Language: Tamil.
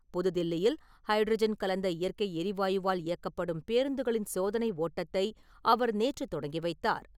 புதுதில்லியில் ஹைட்ரஜன் கலந்த இயற்கை எரிவாயுவால் இயக்கப்படும் பேருந்துகளின் சோதனை ஓட்டத்தை அவர் நேற்று தொடங்கி வைத்தார்.